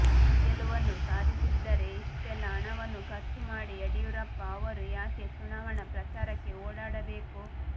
ಗೆಲುವನ್ನು ಸಾಧಿಸಿದ್ದರೆ ಇಷ್ಟೆಲ್ಲಾ ಹಣವನ್ನು ಖರ್ಚು ಮಾಡಿ ಯಡಿಯೂರಪ್ಪ ಅವರು ಯಾಕೆ ಚುನಾವಣಾ ಪ್ರಚಾರಕ್ಕೆ ಓಡಾಡಬೇಕು